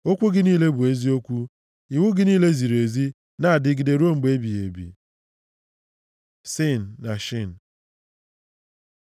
Okwu gị niile bụ eziokwu; iwu gị niile ziri ezi na-adịgide ruo mgbe ebighị ebi. ש Sin na Shin